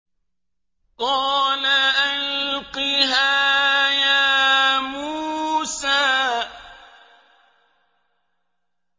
قَالَ أَلْقِهَا يَا مُوسَىٰ